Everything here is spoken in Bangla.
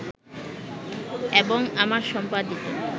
এবং আমার সম্পাদিত